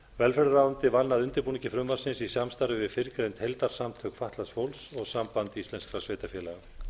velferðarráðuneytið vann að undirbúningi frumvarpsins í samstarfi við fyrrgreind heildarsamtök fatlaðs fólks og samband íslenskra sveitarfélaga